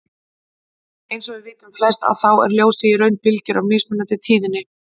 Eins og við vitum flest að þá er ljósið í raun bylgjur af mismunandi tíðni.